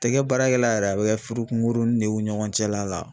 A tɛ kɛ baarakɛla yɛrɛ a bɛ kɛ furu kunkuruni de y'u ni ɲɔgɔn cɛla la.